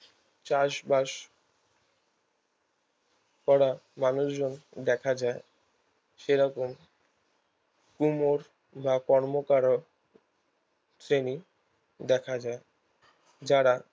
চাষবাস করা মানুষ জন দেখা যায় সেরকম কুমোর বা কর্মকারের শ্রেণি দেখা যায় যারা